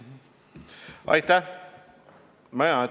Aitäh!